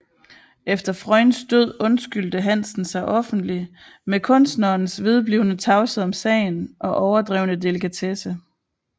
Efter Freunds død undskyldte Hansen sig offentlig med kunstnerens vedblivende tavshed om sagen og overdrevne delikatesse